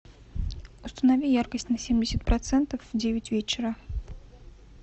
установи яркость на семьдесят процентов в девять вечера